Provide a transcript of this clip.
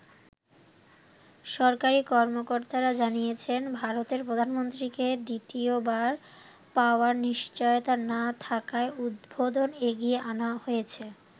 সরকারি কর্মকর্তারা জানিয়েছেন, ভারতের প্রধানমন্ত্রীকে দ্বিতীয়বার পাওয়ার নিশ্চয়তা না থাকায় উদ্বোধন এগিয়ে আনা হয়েছে।